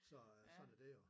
Så sådan er dét jo